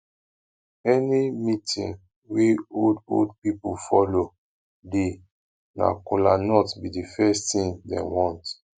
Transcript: any meetin wey old old pipo follow dey na kolanut bi di first tin dem want